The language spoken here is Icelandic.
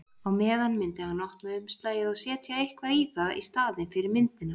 Á meðan myndi hann opna umslagið og setja eitthvað í það í staðinn fyrir myndina.